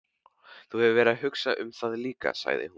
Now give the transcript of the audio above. Þú hefur verið að hugsa um það líka, sagði hún.